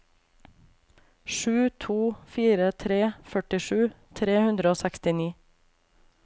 sju to fire tre førtisju tre hundre og sekstini